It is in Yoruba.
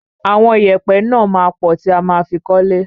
Àwọn ìyẹ̀pẹ̀ náà máa pọ̀ tí a ma fi kọ́lé.